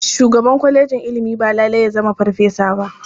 Shugaban kwalejin ilimi ba lalai ya zama farfesa ba.